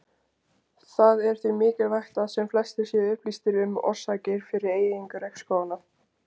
Það er því mikilvægt að sem flestir séu upplýstir um orsakir fyrir eyðingu regnskóganna.